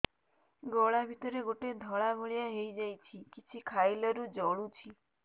ଗଳା ଭିତରେ ଗୋଟେ ଧଳା ଭଳିଆ ହେଇ ଯାଇଛି କିଛି ଖାଇଲାରୁ ଜଳୁଛି